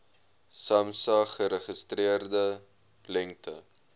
samsa geregistreerde lengte